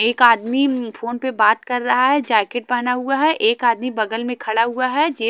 एक आदमी फोन पर बात कर रहा है जैकेट पहना हुआ है एक आदमी बगल में खड़ा हुआ है जे--